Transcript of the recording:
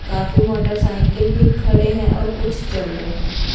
काफी मोटरसाइकिल भी खड़े हैं और कुछ चल रहे हैं।